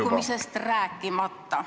... kõikumisest rääkimata.